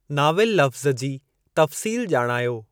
Novel लफ़्ज़ु जी तफ़्सील ॼाणायो।